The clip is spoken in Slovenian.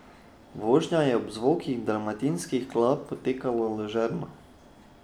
Vožnja je ob zvokih dalmatinskih klap potekala ležerno.